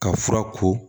Ka fura ko